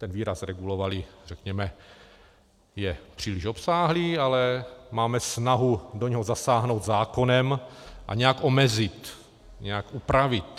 Ten výraz "regulovali", řekněme, je příliš obsáhlý, ale máme snahu do něho zasáhnout zákonem a nějak omezit, nějak upravit.